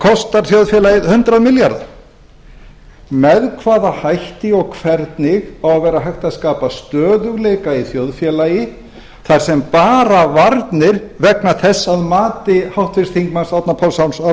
kosta þjóðfélagið hundrað milljarða með hvaða hætti og hvernig á að vera hægt að skapa stöðugleika í þjóðfélagi þar sem bara varnir vegna þess að mati háttvirtum þingmanni árna páls